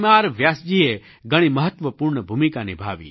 વ્યાસજીએ ઘણી મહત્ત્વપૂર્ણ ભૂમિકા નિભાવી